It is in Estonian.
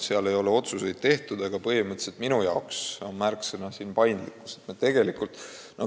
Otsuseid ei ole veel tehtud, aga põhimõtteliselt on minu arvates selle mudeli märksõna paindlikkus.